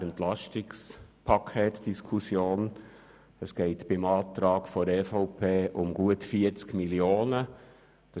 Beim Antrag der EVP, dem Minderheitsantrag I, den Grossrat Kipfer vorgestellt hat, geht es um gut 40 Mio. Franken.